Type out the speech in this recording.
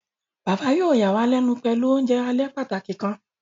Baba yóò yàwàlénu pẹlu ounjẹ alẹ pàtàki kan.